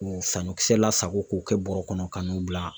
K'o saɲɔ kisɛ la sago k'o kɛ bɔrɛ kɔnɔ ka n'o bila.